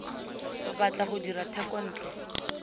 o batla go dira thekontle